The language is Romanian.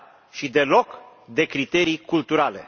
și deloc de criterii culturale.